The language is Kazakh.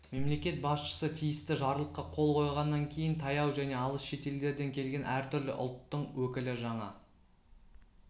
мемлекет басшысы тиісті жарлыққа қол қойғаннан кейін таяу және алыс шетелдерден келген әртүрлі ұлттың өкілі жаңа